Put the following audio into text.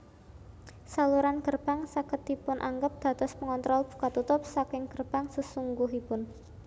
Saluran gerbang saged dipunanggep dados pengontrol buka tutup saking gerbang sesungguhipun